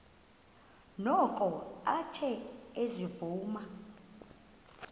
noko athe ezivuma